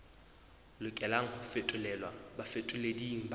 lokelang ho fetolelwa bafetoleding ba